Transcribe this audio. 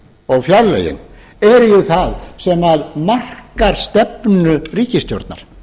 og fjárlögin eru það sem markar stefnu ríkisstjórnar